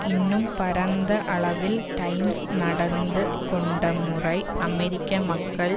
இன்னும் பரந்த அளவில் டைம்ஸ் நடந்து கொண்ட முறை அமெரிக்க மக்கள்